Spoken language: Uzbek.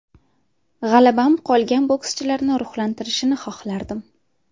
G‘alabam qolgan bokschilarni ruhlantirishini xohlardim”.